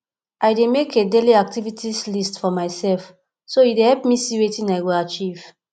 i dey make a dailyactivities list for myself so e dey help me see wetin i go achieve